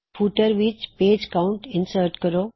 footer ਵਿੱਚ page count insert ਕਰੋ